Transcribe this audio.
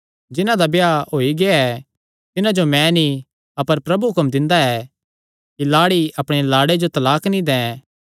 जिन्हां दा ब्याह होई गेआ तिन्हां जो मैं नीं अपर प्रभु हुक्म दिंदा ऐ कि लाड़ी अपणे लाड़े जो तलाक नीं दैं